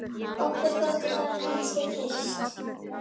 Okkur þótti það kannski fyrst.